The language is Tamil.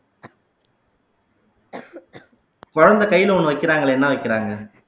குழந்தை கையில ஒண்ணு வைக்கிறாங்களே என்ன வைக்கிறாங்க